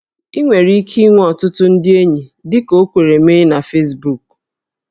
Ị nwere ike inwe ọtụtụ ndị enyi dịka o kwere mee na Fesbuku